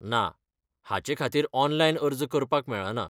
ना, हाचें खातीर ऑनलायन अर्ज करपाक मेळना.